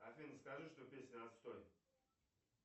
афина скажи что песня отстой